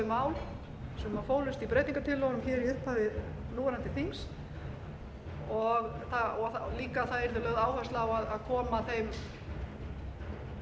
mál sem fólust í breytingartillögunum í upphafi núverandi þings og líka að lögð yrði áhersla á að koma þeim hugmyndum sem þar